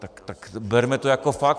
Tak to berme jako fakt.